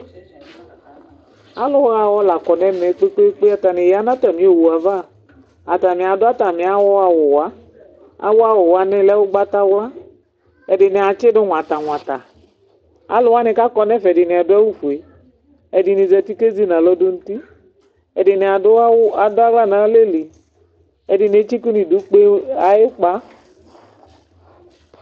ɑluhɑwɔ lɑkɔnɛmɛ kpɛkpɛkpɛ ɑtɑni yɑnɑtɑmi ọwuɑvɑ ɑtɑninia du ɑtɑmiahowuwɑ ɑhɔwuwɑ lɛ ụgbɑtɑylɑ ɛdiniadsidu ɲwɑtɑ ɲwɑtɑ ɑluwɑni kɑkɔ nɛfɛ ɛdinia duɑwufuɛ ɛdinizɑti kɛzinɑlɔdu nu uti ɛdiniaduwɔ ɑdɑhlɑnɑlɛli ɛdiniɛtsikɑ nudukpɛ ɑyukpɑ